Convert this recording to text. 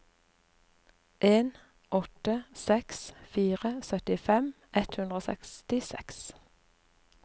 en åtte seks fire syttifem ett hundre og sekstiseks